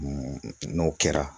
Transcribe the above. n'o kɛra